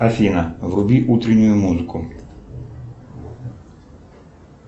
афина вруби утреннюю музыку